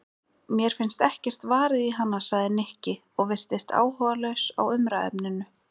Mér finnst ekkert varið í hana sagði Nikki og virtist áhugalaus á umræðuefninu.